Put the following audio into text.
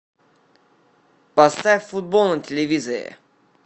поставь футбол на телевизоре